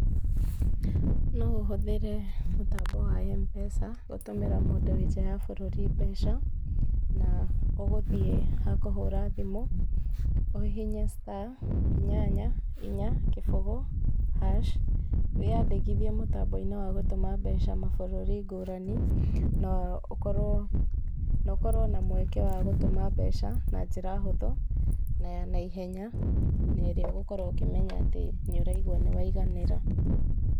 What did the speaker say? No ũhũthĩre mũtambo wa Mpesa gũtũmĩra mũndũ wĩ nja ya bũrũri mbeca, na ũgũthiĩ ha kũhũra thimũ, ũhihinye star inyanya inya kĩbũgũ hash wĩyandĩkithie mũtambo-inĩ wa gũtũma mbeca mabũrũri ngũrani, na ũkorwo na mweke wa gũtũma mbeca na njĩra hũthũ na ya naihenya, na ĩrĩa ũgũkorwo ũkĩmenya atĩ nĩũraigũa nĩ waiganĩra.